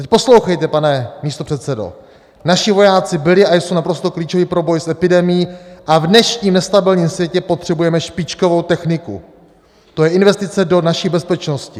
Teď poslouchejte pane místopředsedo: "Naši vojáci byli a jsou naprosto klíčoví pro boj s epidemií a v dnešním nestabilním světě potřebujeme špičkovou techniku, to je investice do naší bezpečnosti."